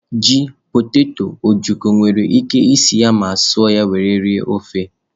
Ji, poteto, ojokọ́ nwere ike sie ya ma suọ ya were rie ofe.